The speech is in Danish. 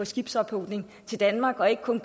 skibsophugning i danmark og ikke kun